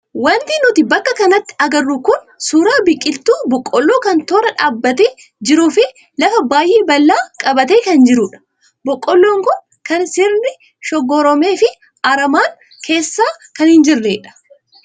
Wanti nuti bakka kanatti agarru kun suuraa biqiltuu boqqoolloo kan tooraa dhaabbatee jiruu fi lafa baay'ee bal'aa qabatee kan jirudha. Boqqoolloon kun kan sirriin shoggoramee fi aramaan keessa kan hin jirredha.